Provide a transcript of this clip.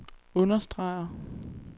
understreger